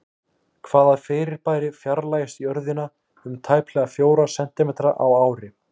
Hvaða fyrirbæri fjarlægist Jörðina um tæplega fjóra sentímetra á ári?